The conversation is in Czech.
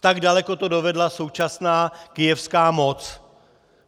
Tak daleko to dovedla současná kyjevská moc.